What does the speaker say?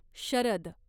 Sharad